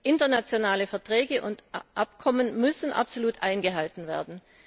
Internationale Verträge und Abkommen müssen absolut eingehalten werden.